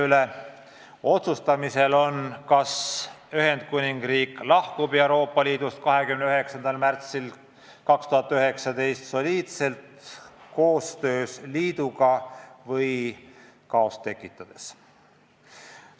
Tuleb otsustada, kas Ühendkuningriik lahkub Euroopa Liidust 29. märtsil 2019 soliidselt liiduga koostööd tehes või kaost tekitades.